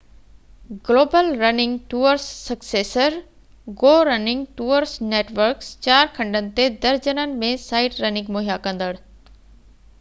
global running tours successor go running tours networks چار کنڊن تي درجنن ۾ سائيٽ رننگ مهيا ڪندڙ